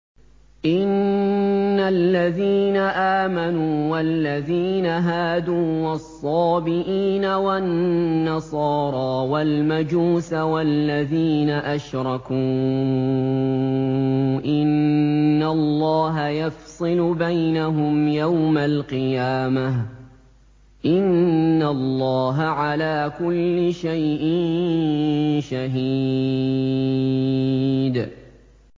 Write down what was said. إِنَّ الَّذِينَ آمَنُوا وَالَّذِينَ هَادُوا وَالصَّابِئِينَ وَالنَّصَارَىٰ وَالْمَجُوسَ وَالَّذِينَ أَشْرَكُوا إِنَّ اللَّهَ يَفْصِلُ بَيْنَهُمْ يَوْمَ الْقِيَامَةِ ۚ إِنَّ اللَّهَ عَلَىٰ كُلِّ شَيْءٍ شَهِيدٌ